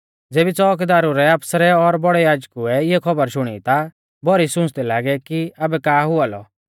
ज़ेबी च़ोउकीदारु रै आफसरै और बौड़ै याजकुऐ इऐ खौबर शुणी ता भौरी सुंच़दै लागै कि आबै का हुआ लौ